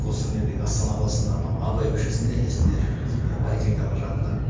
осы недегі астана қаласында анау абай көшесінде есімде әлі сол бір поликлиниканың жанында